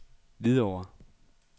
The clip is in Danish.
Hvidovre